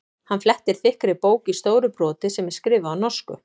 Hann flettir þykkri bók í stóru broti sem er skrifuð á norsku.